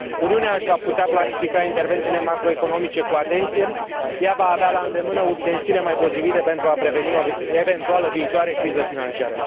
Uniunea își va putea planifica intervențiile macroeconomice cu atenție, ea va avea la îndemână ustensile mai potrivite pentru a preveni o eventuală viitoare criză financiară.